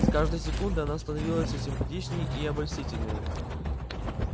с каждой секундой она становилась всё симпатичнее и обольстительнее